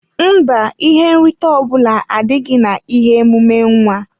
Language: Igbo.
Mba, ihe nrite ọbula adịghị na ihe emume nwa.